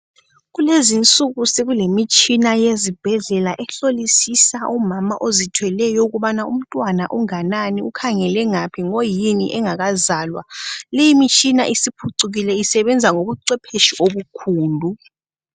Kulezinsuku sekulemitshina yezibhedlela ehlolisisa omama ozithweleyo ukuba umntwana unganani ,ukhangele ngaphi ngoyini engakazalwa, le mitshina siphucukile isebenza ngobucwephetshi obukhulu.